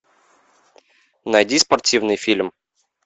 найди спортивный фильм